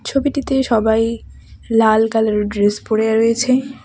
ছবিটিতে সবাই লাল কালারের ড্রেস পরেয়ে রয়েছে .